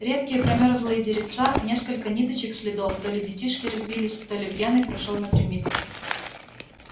редкие промёрзлые деревца несколько ниточек следов то ли детишки резвились то ли пьяный прошёл напрямик